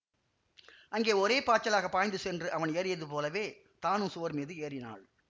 அங்கே ஒரே பாய்ச்சலாகப் பாய்ந்து சென்று அவன் ஏறியது போலவே தானும் சுவர் மீது ஏறினாள்